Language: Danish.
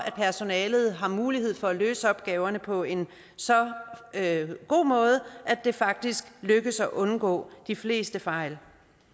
personalet har mulighed for at løse opgaverne på en så god måde at det faktisk lykkes at undgå de fleste fejl